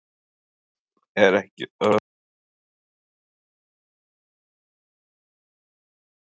Er ekki öruggt að þetta verði allt uppgert í næstu viku??